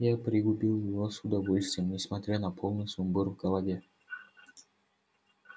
я пригубил его с удовольствием несмотря на полный сумбур в голове